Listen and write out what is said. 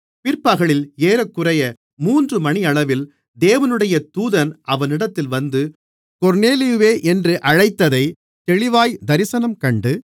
பிற்பகலில் ஏறக்குறைய மூன்று மணியளவில் தேவனுடைய தூதன் அவனிடத்தில் வந்து கொர்நேலியுவே என்று அழைத்ததை தெளிவாய் தரிசனம் கண்டு